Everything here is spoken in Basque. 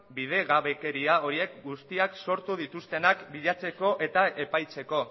bidegabekeria horiek guztiak sortu dituztenak bilatzeko eta epaitzeko